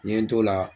N ye n t'o la